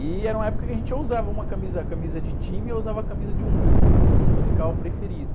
E era uma época que a gente ou usava uma camisa, camisa de time ou usava a camisa de um, de um grupo musical preferido.